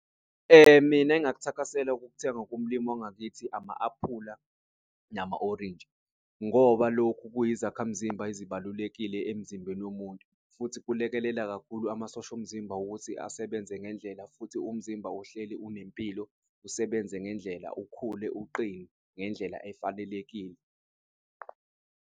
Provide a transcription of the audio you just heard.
Mina engakuthakasela ukukuthenga kumlimi wangakithi ama aphula nama orintshi ngoba lokhu kuyizakhamzimba ezibalulekile emzimbeni womuntu futhi kulekelela kakhulu amasosha omzimba ukuthi asebenze ngendlela futhi umzimba uhleli unempilo, usebenze ngendlela, ukhule uqine ngendlela efanelekile.